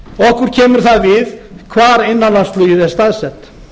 okkur kemur það við hvar innanlandsflugið er staðsett